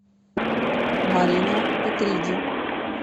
марина петриди